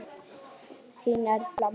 Þín, Erla María.